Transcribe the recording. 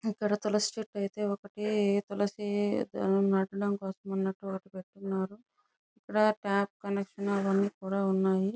ఇక్కడ తులసి చెట్టు అయితే ఒకటి తులసి దానం నాటడానికి కోసం అన్నట్టు ఒకటి పెట్టిఉన్నారు ఇక్కడ టాప్ కనెక్షన్ అవన్నీ కూడా ఉన్నాయి.